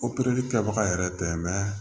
kɛbaga yɛrɛ tɛ